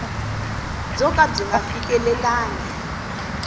byo ka byi nga fikelelangi